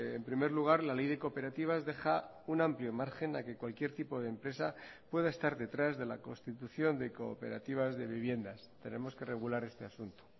en primer lugar la ley de cooperativas deja un amplio margen a que cualquier tipo de empresa pueda estar detrás de la constitución de cooperativas de viviendas tenemos que regular este asunto